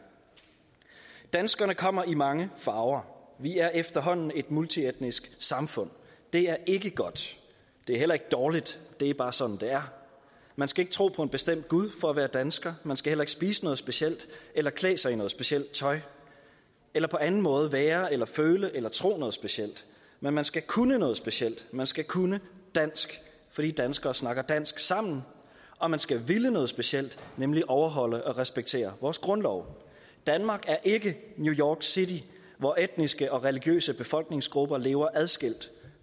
danskerne kommer i mange farver vi er efterhånden et multietnisk samfund det er ikke godt det er heller ikke dårligt det er bare sådan det er man skal ikke tro på en bestemt gud for at være dansker man skal heller ikke spise noget specielt eller klæde sig i noget specielt tøj eller på anden måde være eller føle eller tro noget specielt men man skal kunne noget specielt man skal kunne dansk fordi danskere snakker dansk sammen og man skal ville noget specielt nemlig overholde og respektere vores grundlov danmark er ikke new york city hvor etniske og religiøse befolkningsgrupper lever adskilt